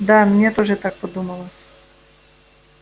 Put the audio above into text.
да мне тоже так подумалось